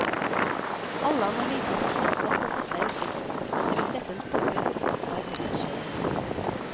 Alle analyser har slått fast at dette er riktig spor, og at det vil sette en stopper for kostbar dobbeltkjøring.